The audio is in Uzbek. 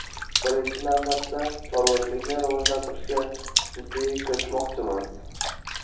Birinchi navbatda, chorvachilikni rivojlantirishga jiddiy kirishmoqchimiz.